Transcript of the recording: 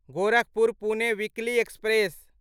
Gorakhpur Pune weekly express